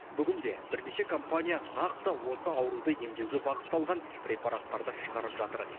бүгінде бірнеше компания нақты осы ауруды емдеуге бағытталған препараттарды шығарып жатыр